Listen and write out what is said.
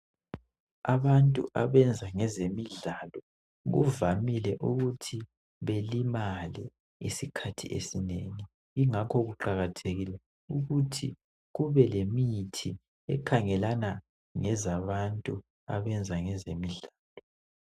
Abantu abenza ngezemidlalo kuvamile ukuthi belimale isikhathi esinengi, ingakho kuqakathekile ukuthi kube lemithi ekhangelana ngezabantu abenza ezemidlalo.